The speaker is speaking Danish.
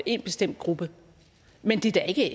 en bestemt gruppe men det er da ikke